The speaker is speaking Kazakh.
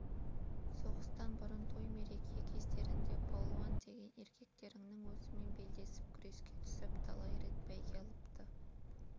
соғыстан бұрын той-мереке кездерінде балуан деген еркектеріңнің өзімен белдесіп күреске түсіп талай рет бәйге алыпты